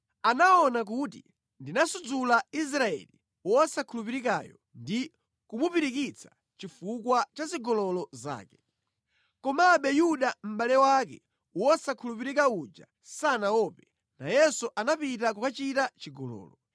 Anaona kuti ndinasudzula Israeli wosakhulupirikayo ndi kumupirikitsa chifukwa cha zigololo zake. Komabe Yuda mʼbale wake wosakhulupirika uja sanaope, nayenso anapita kukachita chigololo.